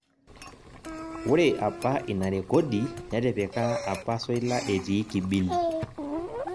Ore apa ina rekodi netipika apa Soila etii Kibini